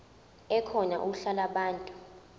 ekhona uhla lwabantu